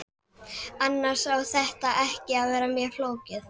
Annars á þetta ekki að vera mjög flókið.